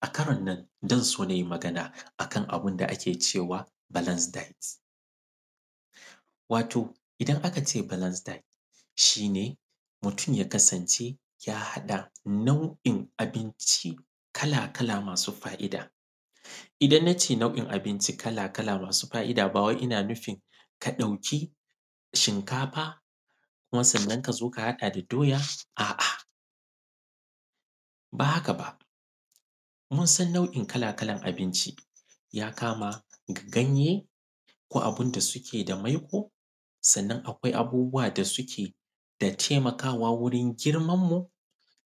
a: ka:ro:n na:n za:n so: na:yiˋi: ma:ga:naˋ: a:ka:n a:bu:n da: a:ke: ʧe:waˋ: ba:la:ns di:t wa:toˋ: i:da:n a:ka: ʧe: ba:la:ns di:t ∫i: ne: mu:tu:m ϳa: ka:sa:n ʧe: ya: ha:ɗaˋ: na:u:’i:n a:bi:nciˋ: ka:laˋ: ka:laˋ: ma:suˋ:ɸa:’i:da: i:da:n na:ʧeˋe na:u:’i:n a:bi:nʧi:n ka:laˋ: ka:laˋ: ma:suˋ: ɸa:’i:da: ba: wa:i: i:na: nu:fi:n ka: ɗa:ukiˋ: ∫i:nka:faˋ: ku:maˋ: sa:nna:n ka: zo: ka: ha:ɗaˋ: da: ɗa:yaˋ: a:’a: ba: ha:kaˋ: ba: mu:n sa:n na:u’i:n ka:laˋ: ka:la:n a:bi:nʧi: ϳa: ka:maˋ: ga:nϳeˋ: ko: a:bu:ndaˋ: su:keˋ: da: ma:ikoˋ: sa:nna:n a:kwa:i a:bu:bu:waˋ: da: su:keˋ: da: ta:i:ma:ka:waˋ: wu:ri:n gi:rma:nmuˋ: